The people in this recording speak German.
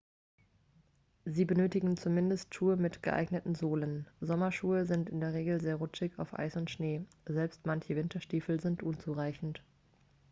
sie benötigen zumindest schuhe mit geeigneten sohlen sommerschuhe sind in der regel sehr rutschig auf eis und schnee selbst manche winterstiefel sind unzureichend